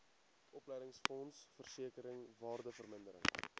opleidingsfonds versekering waardevermindering